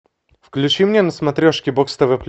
включи мне на смотрешке бокс тв плюс